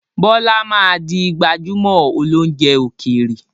Bọlá máa di gbajumo óloúnjẹ ókéré.